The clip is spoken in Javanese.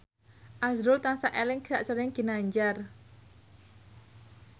azrul tansah eling sakjroning Ginanjar